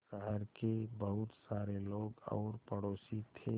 शहर के बहुत सारे लोग और पड़ोसी थे